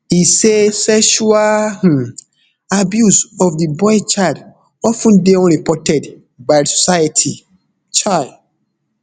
e say sexual um abuse of di boy child of ten dey unreported by di society um